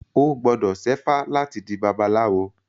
O gbọ́dọ̀ ṣẹ́fá láti di babaláwo.